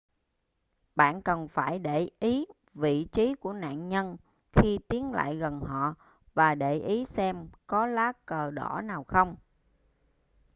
bạn cần phải để ý vị trí của nạn nhân khi tiến lại gần họ và để ý xem có lá cờ đỏ nào không